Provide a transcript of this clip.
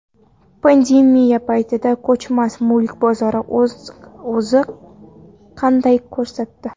Pandemiya paytida ko‘chmas mulk bozori o‘zini qanday ko‘rsat di?